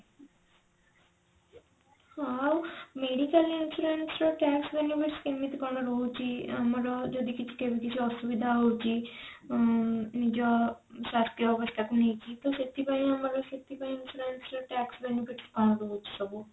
ହଁ ଆଉ medical insurance ର tax benefits କେମିତି କଣ ରହୁଛି ଆମର ଯଦି କେବେ କିଛି ଅସୁବିଧା ହୋଉଛି ଉଁ ନିଜ ସ୍ୱାସ୍ଥ୍ୟ ଅବସ୍ଥା କୁ ନେଇକି ତ ସେଥିପାଇଁ ଆମର ସେଥିପାଇଁ insurance ର tax benefit କଣ ରହୁଛି ସବୁ?